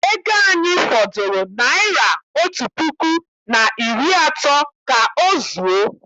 Ego anyị fọdụrụ naịra otu puku na iri atọ ka ọ zuo.